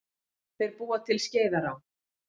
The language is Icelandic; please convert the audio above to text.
Þeir búa til Skeiðará.